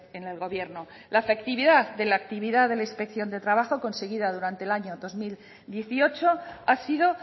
en el gobierno la efectividad de la actividad de la inspección de trabajo conseguida durante el año dos mil dieciocho ha sido